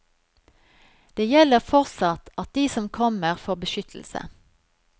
Det gjelder fortsatt at de som kommer får beskyttelse.